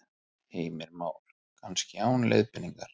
Heimir Már: Kannski án leiðbeiningar?